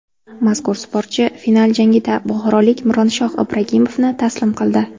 Mazkur sportchi final jangida buxorolik Mironshoh Ibragimovni taslim qildi.